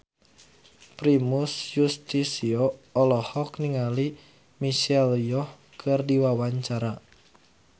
Primus Yustisio olohok ningali Michelle Yeoh keur diwawancara